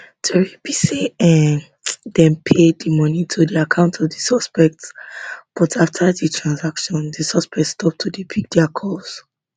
tori be say um dem pay di money to the account of di suspect but afta di transaction di suspect stop to dey pick dia calls